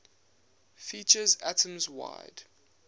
features atoms wide